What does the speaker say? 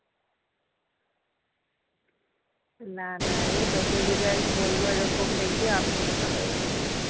না না রে তোকে যদি আমি বলবো এরকম দেখবি আমি মোটা হয়ে গেছি